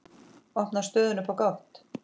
Opnar stöðuna upp á gátt.